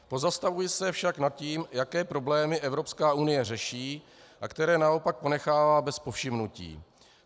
Pozastavuji se však nad tím, jaké problémy Evropská unie řeší a které naopak ponechává bez povšimnutí.